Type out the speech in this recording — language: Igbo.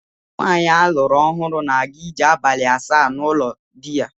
Nwaanyi a lụrụ ọhụrụ na-aga ije abalị asaa n'ụlọ di ya.